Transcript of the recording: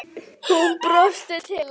Hún brosti til hans.